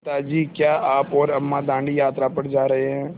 पिता जी क्या आप और अम्मा दाँडी यात्रा पर जा रहे हैं